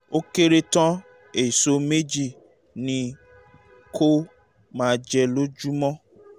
ó kéré tán èso méjì ni kó o máa jẹ lójoojúmọ́